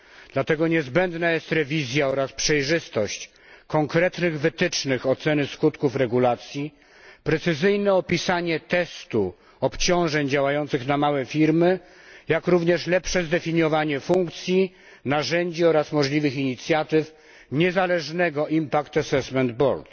Dlatego niezbędna jest rewizja oraz przejrzystość konkretnych wytycznych oceny skutków regulacji, precyzyjne opisanie testu obciążeń działających na małe firmy, jak również lepsze zdefiniowanie funkcji, narzędzi oraz możliwych inicjatyw niezależnego Impact Assesment Board